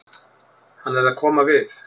Hann er að koma við.